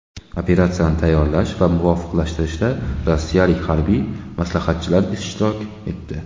Operatsiyani tayyorlash va muvofiqlashtirishda rossiyalik harbiy maslahatchilar ishtirok etdi.